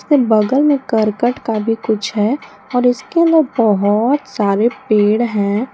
एक बगल में करकट का भी कुछ है और इसके अंदर बहोत सारे पेड़ हैं।